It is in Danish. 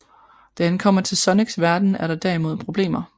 Da han kommer til Sonics verden er der derimod problemer